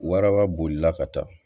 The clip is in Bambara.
Waraba bolila ka taa